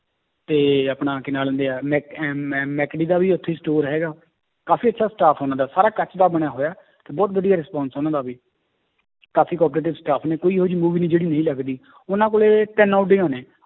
ਤੇ ਆਪਣਾ ਕੀ ਨਾਂ ਲੈਂਦੇ ਹੈ ਮੈਕ~ ਅਹ ਦਾ ਵੀ ਉੱਥੇ ਹੀ store ਹੈਗਾ, ਕਾਫ਼ੀ ਅੱਛਾ staff ਉਹਨਾਂ ਦਾ ਸਾਰਾ ਕੱਚ ਦਾ ਬਣਿਆ ਹੋਇਆ, ਤੇ ਬਹੁਤ ਵਧੀਆ response ਉਹਨਾਂ ਦਾ ਵੀ ਕਾਫ਼ੀ cooperative staff ਨੇ ਕੋਈ ਇਹੋ ਜਿਹੀ movie ਨੀ ਜਿਹੜੀ ਨਹੀਂ ਲੱਗਦੀ ਉਹਨਾਂ ਕੋਲੇ ਤਿੰਨ ਓਡੀਆਂ ਨੇ।